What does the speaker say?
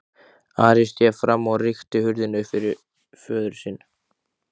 Ari sté fram og rykkti hurðinni upp fyrir föður sinn.